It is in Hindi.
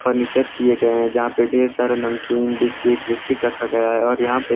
फर्नीचर किए गए हैं जहां पे ढेर सारा नमकीन बिस्किट बिस्किट रखा गया है और यहां पे --